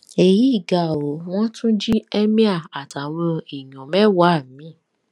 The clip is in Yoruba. èyí ga o wọn tún jí emir àtàwọn èèyàn mẹwàá mi